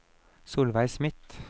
Solveig Smith